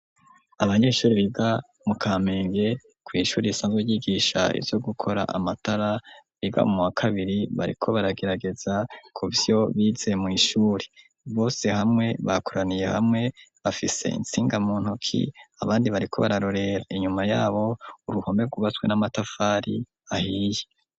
Abanyeshuri biga mu kamenge kw'ishuri isanzwe yigisha ivyo gukora amatara biga mu wa kabiri bariko baragerageza kuvyo bize mw'ishuri bose hamwe bakoraniye hamwe bafise intsinga mu ntoki abandi bariko bararorera inyuma yabo uruhome kubatswe n'amatafari ahiye.